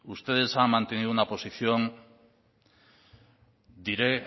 ustedes han mantenido una posición diré